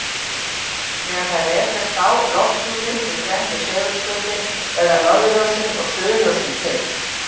Þegar þær rekast á lofthjúpinn í grennd við segulskautin verða norðurljósin og suðurljósin til.